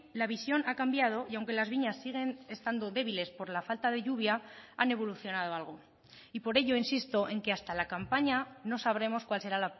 la visión ha cambiado y aunque las viñas siguen estando débiles por la falta de lluvia han evolucionado algo y por ello insisto en que hasta la campaña no sabremos cuál será